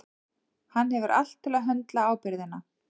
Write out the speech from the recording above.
Hann hefur allt til að höndla ábyrgðina.